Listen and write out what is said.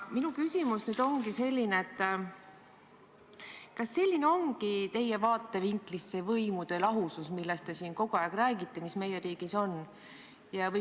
Minu küsimus: kas selline ongi teie vaatevinklist see võimude lahusus, millest te siin kogu aeg räägite, mis meie riigis on?